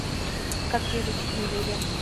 как приручить медведя